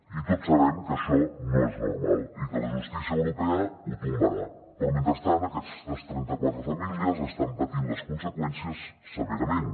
i tots sabem que això no és normal i que la justícia europea ho tombarà però mentrestant aquestes trenta quatre famílies n’estan patint les conseqüències severament